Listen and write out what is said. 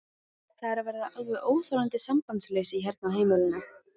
Það er að verða alveg óþolandi sambandsleysi hérna á heimilinu!